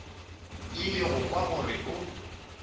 ile go kwa gore o